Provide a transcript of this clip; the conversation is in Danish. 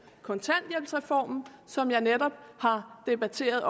kontanthjælpsreformen som jeg netop har debatteret